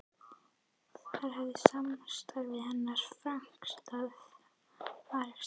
Þar hefst samstarf hennar og franska arkitektsins